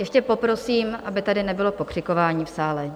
Ještě poprosím, aby tady nebylo pokřikování v sále.